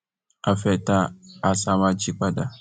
a fẹẹ ta àṣà wa jí padà